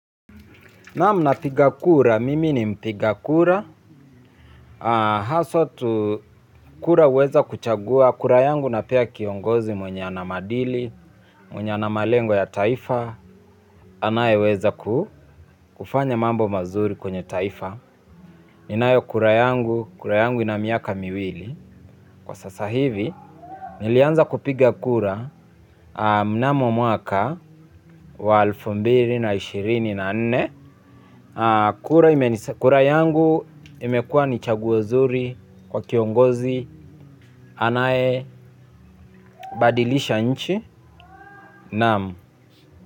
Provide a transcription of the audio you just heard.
Naam, napiga kura, mimi ni mpiga kura, haswa tu kura huweza kuchagua, kura yangu napea kiongozi mwenye ana madili, mwenye ana malengo ya taifa, anayeweza kufanya mambo mazuri kwenye taifa, ninayo kura yangu, kura yangu ina miaka miwili kwa sasa hivi, nilianza kupiga kura mnamo mwaka wa elfu mbili na inshirini na nne. Kura yangu imekua ni chaguo zuri kwa kiongozi anaye badilisha nchi, naam.